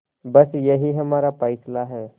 बस यही हमारा फैसला है